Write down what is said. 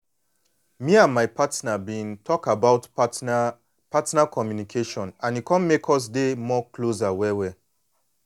me and my partner been talk about partner partner communication and e come make us dey more closer well well.